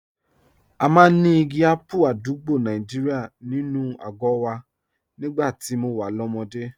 A máa ń ní igi ápù àdúgbò Nàìjíríà nínú àgọ́ wa nígbà tí mo wà lọ́mọdé